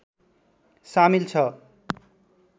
शामिल छ